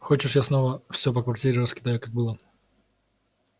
хочешь я снова все по квартире раскидаю как было